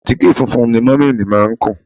Àtíkè funfun ni múmì mi má ń kùn